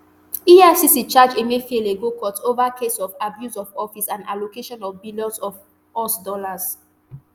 efcc charge emefiele go court ova case of abuse of office and allocation of billions of us dollars